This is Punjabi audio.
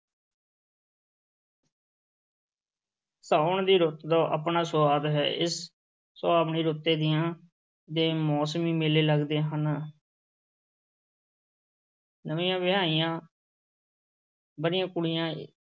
ਸਾਵਣ ਦੀ ਰੁੱਤ ਦਾ ਆਪਣਾ ਸੁਆਦ ਹੈ, ਇਸ ਸੁਹਾਵਣੀ ਰੁੱਤੇ ਤੀਆਂ ਦੇ ਮੌਸਮੀ ਮੇਲੇ ਲੱਗਦੇ ਹਨ ਨਵੀਂਆਂ ਵਿਆਹੀਆਂ ਵਰ੍ਹੀਆਂ ਕੁੜੀਆਂ